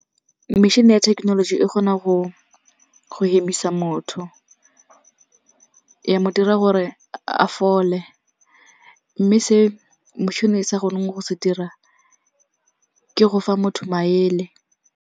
Metšhine ya thekenoloji e kgona go hemisa motho ya mo dira gore a fole. Mme se motšhine e sa kgoneng go se dira ke go fa motho maele.